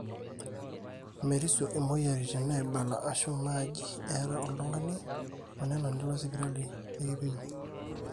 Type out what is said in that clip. merisio imweyiaritin naaibala aashu naaji eeta oltung'ani onena nilo sipitali nekimpimi